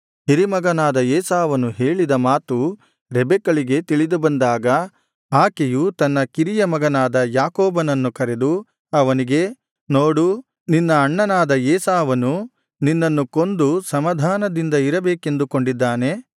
ಹಿರಿಮಗನಾದ ಏಸಾವನು ಹೇಳಿದ ಮಾತು ರೆಬೆಕ್ಕಳಿಗೆ ತಿಳಿದುಬಂದಾಗ ಆಕೆಯು ತನ್ನ ಕಿರಿಯ ಮಗನಾದ ಯಾಕೋಬನನ್ನು ಕರೆದು ಅವನಿಗೆ ನೋಡು ನಿನ್ನ ಅಣ್ಣನಾದ ಏಸಾವನು ನಿನ್ನನ್ನು ಕೊಂದು ಸಮಾಧಾನದಿಂದ ಇರಬೇಕೆಂದುಕೊಂಡಿದ್ದಾನೆ